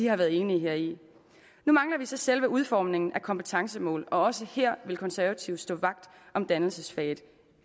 har været enige heri nu mangler vi så selve udformningen af kompetencemål og også her vil konservative stå vagt om dannelsesfaget